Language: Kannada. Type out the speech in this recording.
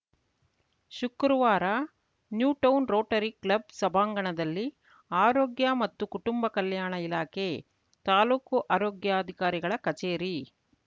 ಶುಕ್ರವಾರ ನ್ಯೂಟೌನ್‌ ರೋಟರಿ ಕ್ಲಬ್‌ ಸಭಾಂಗಣದಲ್ಲಿ ಆರೋಗ್ಯ ಮತ್ತು ಕುಟುಂಬ ಕಲ್ಯಾಣ ಇಲಾಖೆ ತಾಲೂಕು ಆರೋಗ್ಯಾಧಿಕಾರಿಗಳ ಕಚೇರಿ